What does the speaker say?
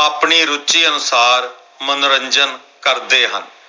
ਆਪਣੀ ਰੁਚੀ ਅਨੁਸਾਰ ਮਨੋਰੰਜਨ ਕਰਦੇ ਹਨ।